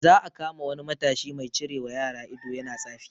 Za a kama wani matashi mai cirewa yara ido yana tsafi